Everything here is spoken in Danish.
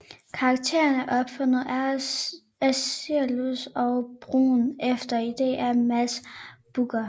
Karakteren er opfundet af Cilius og Bruun efter idé af Mads Brügger